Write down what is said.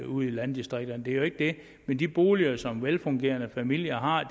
ude i landdistrikterne det er jo ikke det men de boliger som velfungerende familier har